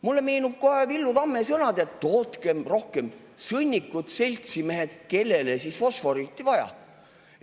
Mulle meenuvad Villu Tamme sõnad "Tootkem rohkem sõnnikut, seltsimehed, kellele siis fosforiiti vaja!".